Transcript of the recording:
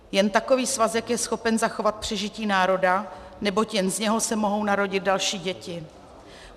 Jen takový svazek je schopen zachovat přežití národa, neboť jen z něho se mohou narodit další děti.